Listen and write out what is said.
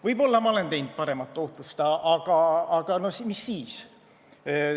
Võib-olla ma oleks saavutanud parema tootlus, aga mis siis.